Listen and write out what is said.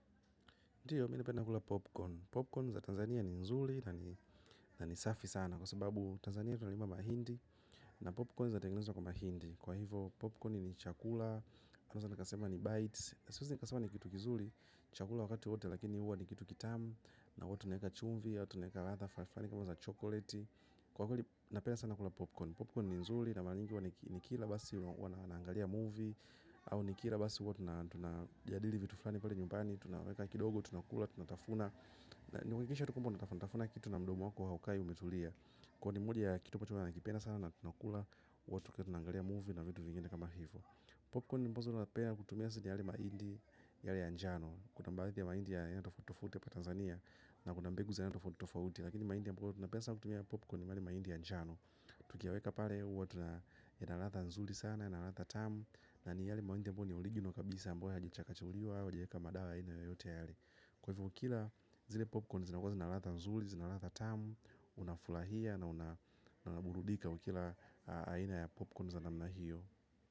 Ndiyo, mi nipenda kula popcorn. Popcorn za Tanzania ni nzuli na ni safi sana kwa sababu Tanzania tunalima mahindi na popcorn za tengenezo kwa mahindi. Kwa hivyo, popcorn ni chakula, anaeza nakasema ni bites. Siwezi nakasema ni kitu kizuli, chakula wakati wote lakini uwa ni kitu kitamu na uwa tunaeka chumvi, ya uwa tuneka ratha, falafani kama za chokoleti. Kwa hivyo, napenda sana kula popcorn. Popcorn ni nzuli na malanyingi wani kila basi naangalia movie au nikira basi hua tu na jadili vitu flani pale nyumbani. Tunaweka kidogo, tunakula, tunatafuna. Niwekisha tukwambo, natafuna, natafuna. Kitu na mdomu wako haukai umetulia. Kwa ni mwoja ya kitu po chumbo na kipena sana. Natunakula, watu kia tunangalia movie. Na vitu vingine kama hivyo. Popcorn ni mbozo napea kutumiasi ni yale maindi. Yale anjano, kutambalithi ya maindi. Yanatofutofuti ya pa Tanzania. Na kuna mbegu za enatofutofuti. Lakini maindi ambazo napea sana kutumiasi ya popcorn. Yale maindi ya anjano tukiaweka pale, watu na ya nalata nzuli sana, ya nalatha tamu na ni yali mawente mponi oligino kabisa mponi hajecha kachuliwa wa jieka madara ina yoyote yali kwa hivyo kila zile popcorn zina kwa zinalatha nzuli zinalata tamu unafulahia na unaburudika ukila aina ya popcorn za namna hiyo.